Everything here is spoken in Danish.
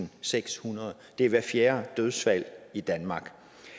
og sekshundrede det er hvert fjerde dødsfald i danmark